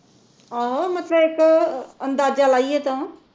ਆਹੋ ਮਤਲਬ ਇਕ ਅੰਦਾਜਾ ਲਾਈਏ ਤਾਂ